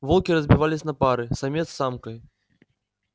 волки разбивались на пары самец с самкой